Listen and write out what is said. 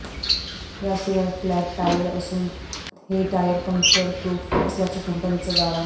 याशिवाय flat tyre असून हे टायर पंक्चर प्रूफ असल्याचा कंपनीचा दावा आहे